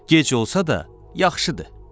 Gec olsa da, yaxşıdır.